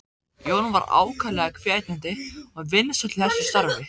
Jón var ákaflega hvetjandi og vinsæll í þessu starfi.